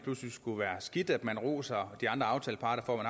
skulle være skidt at man roser de andre aftaleparter for at